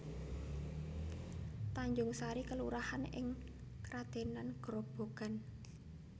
Tanjungsari kelurahan ing Kradenan Grobogan